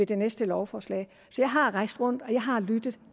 det næste lovforslag jeg har rejst rundt og jeg har lyttet